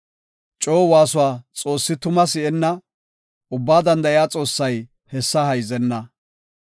Coo waasuwa Xoossi tuma si7enna; Ubbaa Danda7iya Xoossay hessa hayzenna.